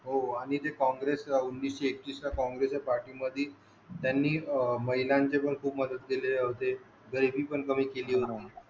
हो आणि ते काँग्रेस उन्नीशे एकतीस ला काँग्रेस च्या पार्टीमध्ये त्यांनी महिलांचे पण खूप मदत केले होते.